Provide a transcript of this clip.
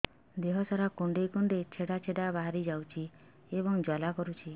ଦେହ ସାରା କୁଣ୍ଡେଇ କୁଣ୍ଡେଇ ଛେଡ଼ା ଛେଡ଼ା ବାହାରି ଯାଉଛି ଏବଂ ଜ୍ୱାଳା କରୁଛି